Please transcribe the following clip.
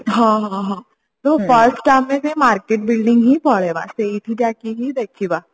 ହଁ ହଁ ହଁ ତ first ଆମେ market building ହିଁ ପଳେଇବା ସେଇଠି ଯାଇକି ହି ଦେଖିବା